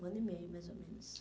Um ano e meio, mais ou menos.